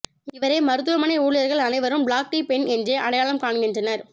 இவரை மருத்துவமனை ஊழியர்கள் அனைவரும் பிளாக் டீ பெண் என்றே அடையாளம் காண்கின்றனர்